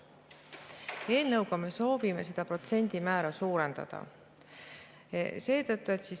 Eelnõuga me soovime seda protsendimäära suurendada.